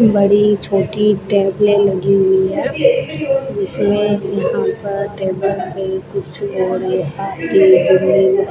बड़ी छोटी टेबलें लगी हुई है जिसमें यहां पर टेबल कुर्सी और ये